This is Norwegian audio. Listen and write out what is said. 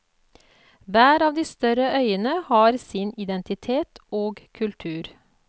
Hver av de større øyene har sin identitet og kultur.